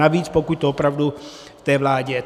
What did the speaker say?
Navíc, pokud to opravdu v té vládě.